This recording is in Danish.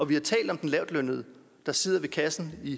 vi har talt om den lavtlønnede der sidder ved kassen i